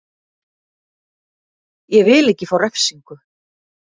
Ég vil ekki fá refsingu.